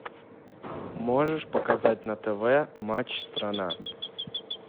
можешь показать на тв матч страна